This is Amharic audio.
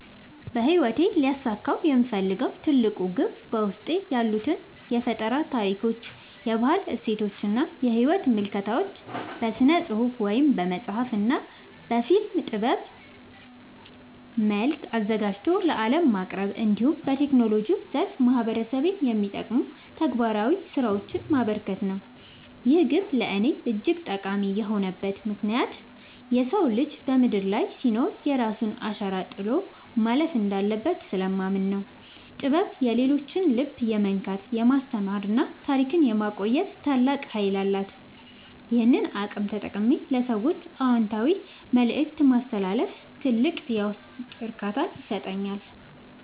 በሕይወቴ ሊያሳካው የምፈልገው ትልቁ ግብ በውስጤ ያሉትን የፈጠራ ታሪኮች፣ የባህል እሴቶችና የሕይወት ምልከታዎች በሥነ-ጽሑፍ (በመጽሐፍ) እና በፊልም ጥበብ መልክ አዘጋጅቶ ለዓለም ማቅረብ፣ እንዲሁም በቴክኖሎጂው ዘርፍ ማኅበረሰቤን የሚጠቅሙ ተግባራዊ ሥራዎችን ማበርከት ነው። ይህ ግብ ለእኔ እጅግ ጠቃሚ የሆነበት ምክንያት የሰው ልጅ በምድር ላይ ሲኖር የራሱን አሻራ ጥሎ ማለፍ እንዳለበት ስለማምን ነው። ጥበብ የሰዎችን ልብ የመንካት፣ የማስተማርና ታሪክን የማቆየት ታላቅ ኃይል አላት፤ ይህንን አቅም ተጠቅሜ ለሰዎች አዎንታዊ መልእክት ማስተላለፍ ትልቅ የውስጥ እርካታን ይሰጠኛል።